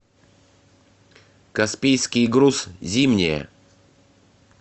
каспийский груз зимняя